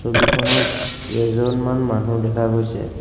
ছবিখনত কেইজনমান মানুহ দেখা গৈছে।